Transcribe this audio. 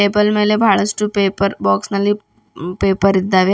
Table ಮೇಲೆ ಬಹಳಷ್ಟು paper box ನಲ್ಲಿ ಪೇಪರ್ ಇದ್ದಾವೆ.